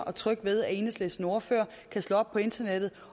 og tryg ved at enhedslistens ordfører kan slå op på internettet